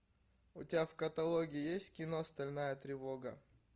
у тебя в каталоге есть кино стальная тревога